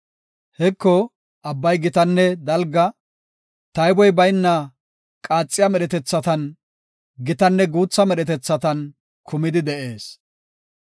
Heko, Abbay gitanne dalga; tayboy bayna qaaxiya medhetethan, gitatanne guutha medhetethan kumidi de7ees.